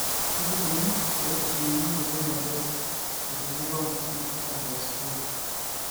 kaji ikoni pee ejung'uni ena moyian e Best vitelliform macular dystrophy ?